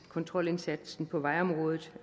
kontrolindsatsen på vejområdet